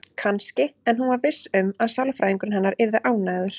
Kannski, en hún var viss um að sálfræðingurinn hennar yrði ánægður.